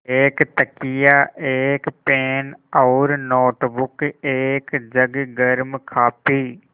एक तकिया एक पेन और नोटबुक एक जग गर्म काफ़ी